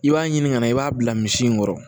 I b'a ɲini ka na i b'a bila misi in kɔrɔ